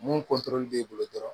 Mun b'i bolo dɔrɔn